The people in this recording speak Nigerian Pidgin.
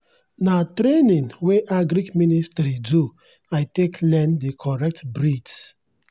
na training wey agric ministry do i take learn the correct breeds.